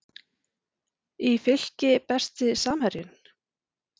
í Fylki Besti samherjinn?